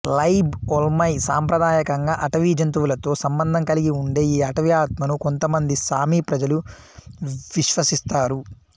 లైబ్ Olmai సాంప్రదాయకంగా అటవీ జంతువులతో సంబంధం కలిగి ఉండే ఈ అటవీ ఆత్మను కొంతమంది సామి ప్రజలు విశ్వసిస్తారు